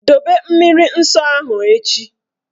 Dobe mmiri nsọ ahụ echi!